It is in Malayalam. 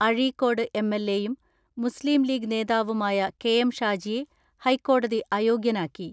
അഴീക്കോട് എം.എൽ.എയും മുസ്ലീംലീഗ് നേതാവുമായ കെ.എം ഷാജിയെ ഹൈക്കോടതി അയോഗ്യനാക്കി.